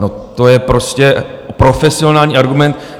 No, to je prostě profesionální argument.